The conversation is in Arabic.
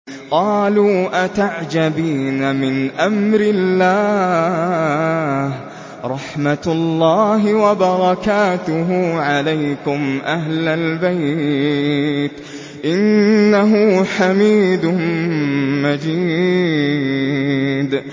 قَالُوا أَتَعْجَبِينَ مِنْ أَمْرِ اللَّهِ ۖ رَحْمَتُ اللَّهِ وَبَرَكَاتُهُ عَلَيْكُمْ أَهْلَ الْبَيْتِ ۚ إِنَّهُ حَمِيدٌ مَّجِيدٌ